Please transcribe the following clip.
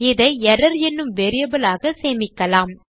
இதை எர்ரர் என்னும் வேரியபிள் ஆக சேமிக்கலாம்